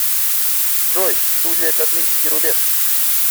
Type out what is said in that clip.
джой студия космический рубеж